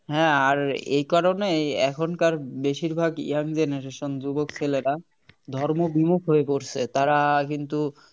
হ্যাঁ আর এই কারণেই এখনকার বেশিরভাগ young generation যুবক ছেলেরা ধর্ম বিমুখ হয়ে পড়ছে তারা কিন্তু